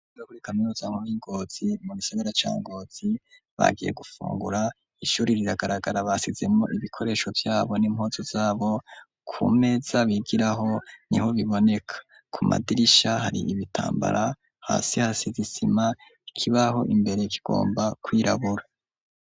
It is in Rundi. Abanyeshure bo kuri kaminuza y'i Ngozi mu gisagara ca Ngozi bagiye gufungura, ishuri riragaragara basizemwo ibikoresho vyabo n'impuzu zabo, ku meza bigiraho niho biboneka, ku madirisha hari ibitambara, hasi hasize isima, ikibaho imbere kigomba kwirabura.